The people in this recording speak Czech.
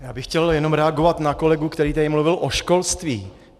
Já bych chtěl jenom reagovat na kolegu, který tady mluvil o školství.